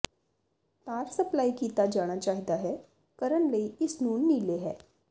ਤਾਰ ਸਪਲਾਈ ਕੀਤਾ ਜਾਣਾ ਚਾਹੀਦਾ ਹੈ ਕਰਨ ਲਈ ਇਸ ਨੂੰ ਨੀਲੇ ਹੈ